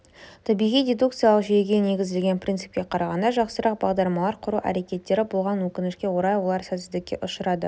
табиғи дидукциялық жүйеге негізделген принципке қарағанда жақсырақ бағдарламалар құру әрекеттері болған өкінішке орай олар сәтсіздікке ұшырады